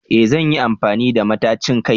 Eh zan yi amfani da matacin kai